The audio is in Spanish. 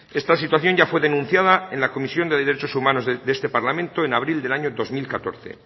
esta situación ya fue denunciada en la comisión de derechos humanos de este parlamento en abril del año dos mil catorce